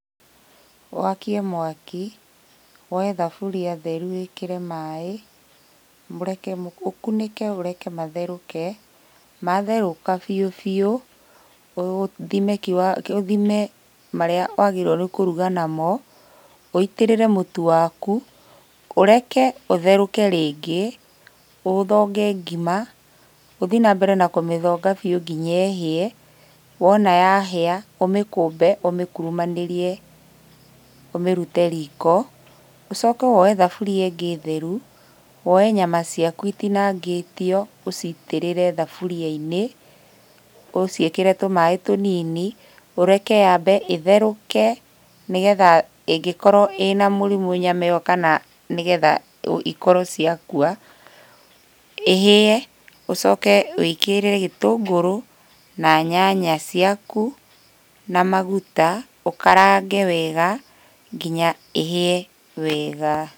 Wakie mwaki, woe thaburia theru wĩkĩre maĩ, mũreke, ũkunĩke ũreke matherũke, matherũka biũ biũ, ũthime kiwa ũthime marĩa wagĩrĩirwo nĩ kũruga namo, ũitĩrĩre mũtu waku, ũreke ũtherũke rĩngĩ, ũthonge ngima, ũthiĩ nambere na kũmĩthonga biũ kinya ĩhĩe. Wona yahĩa ũmĩkũmbe ũmĩkurumanĩrie, ũmĩrute riko. Ũcoke woe thaburia ĩngĩ theru, woe nyama ciaku itinangĩtio ũcitĩrĩre thaburia-inĩ, ũciĩkĩre tũmaĩ tũnini ũreke yambe ĩtherũke, nĩgetha ĩngĩkorwo ĩna mũrimũ nyama ĩyo kana nĩgetha ikorwo ciakua, ĩhĩe ũcoke wĩkĩre gĩtũngũrũ, na nyanya ciaku, na maguta, ũkarange wega kinya ĩhĩe wega.